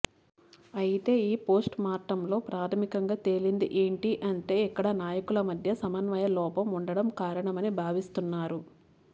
అయితే ఈ పోస్ట్ మార్టంలో ప్రాధమికంగా తేలింది ఏంటి అంటే ఇక్కడ నాయకుల మధ్య సమన్వయలోపం ఉండడం కారణమని భావిస్తున్నారు